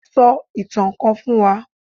So itan kan fún wa!